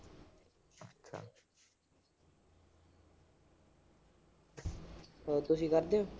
ਹੋਰ ਤੁਸੀਂ ਕਰਦੇ ਓ।